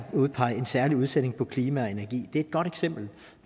udpege en særlig udsending for klima og energi det er et godt eksempel